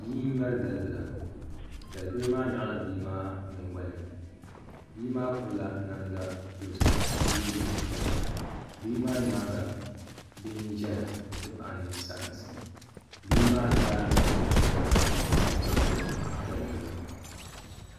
Bia n ŋmɛri dalibila dalibili maa nyɣala bia maa nyingoli ni bia maa pirila namda dozim ka yɛ liiga piɛlli bia maa nyaanga bia n ʒɛya n ti pahi ninsarinsi bihi maa zaa lihirila bia so ŋun gbubi dalibili maa